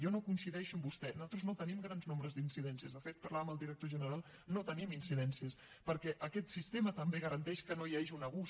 jo no hi coincideixo amb vostè nosaltres no tenim grans nombres d’incidències de fet en parlava amb el director general no tenim incidències perquè aquest sistema també garanteix que no hi hagi un abús